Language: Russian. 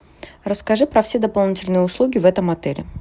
расскажи про все дополнительные услуги в этом отеле